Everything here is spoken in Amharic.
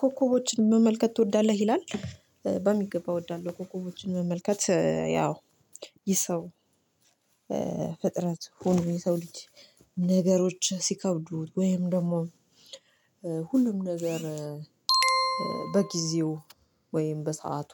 ኮከቦችን መመልከት ትወዳለህ ይላል? በሚገባ እወዳለሁ ኮከቦችን መመልከት ያው ይህ ሰው ፍጥረት ሁሉ የሰው ልጅ ነገሮች ሲከብዱት ወይም ደግሞ ሁሉም ነገር በጊዜው ወይም በሰአቱ